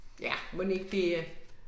Ja, mon ikke det æh